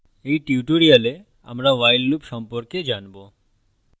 in tutorial আমরা while loop সম্পর্কে জানবো